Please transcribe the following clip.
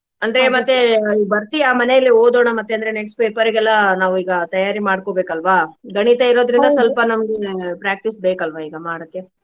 ಅಂದ್ರೆ ಮತ್ತೆ ಈಗ್ ಬರ್ತೀಯಾ ಮನೇಲಿ ಓದೋಣ ಮತ್ತೆ ಅಂದ್ರೆ next paper ಗೆಲ್ಲಾ ನಾವ್ ಈಗಾ ತಯಾರಿ ಮಾಡ್ಕೊಬೇಕ ಅಲ್ವಾ? ಗಣಿತ ಇರೋದ್ರಿಂದ ಸ್ವಲ್ಪ ನಮ್ಗ practice ಬೇಕಲ್ವಾ ಈಗಾ ಮಾಡೋಕೆ?